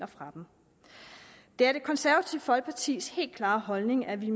fra dem det er det konservative folkepartis helt klare holdning at vi